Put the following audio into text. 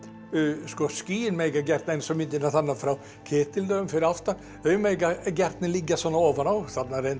sko skýin mega gjarnan eins og myndirnar þarna frá fyrir aftan þau mega gjarnan liggja svona ofan á þarna er reyndar